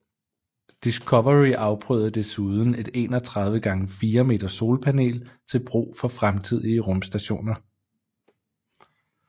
Discovery afprøvede desuden et 31 x 4 m solpanel til brug for fremtidige rumstationer